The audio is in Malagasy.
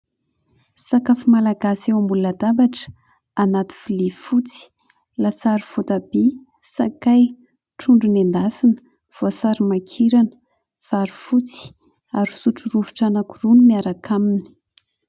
Sakafo malagasy eo ambony latabatra anaty vilia fotsy. Lasary voatabia, sakay, trondro noendasina, voasary makirana, vary fotsy ary sotro rovitra anankiroa no miaraka aminy.